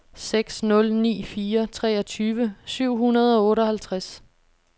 seks nul ni fire treogtyve syv hundrede og otteoghalvtreds